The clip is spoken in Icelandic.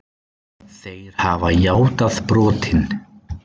Þeir hafa játað brotin.